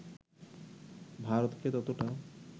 ভারতকে ততোটা